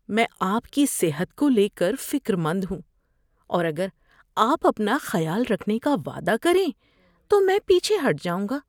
میں آپ کی صحت کو لے کر فکر مند ہوں اور اگر آپ اپنا خیال رکھنے کا وعدہ کریں تو میں پیچھے ہٹ جاؤں گا۔